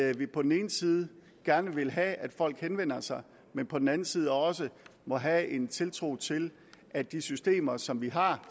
at vi på den ene side gerne vil have at folk henvender sig men på den anden side også må have en tiltro til at de systemer som vi har